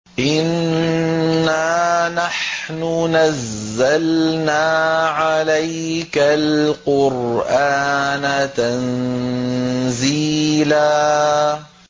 إِنَّا نَحْنُ نَزَّلْنَا عَلَيْكَ الْقُرْآنَ تَنزِيلًا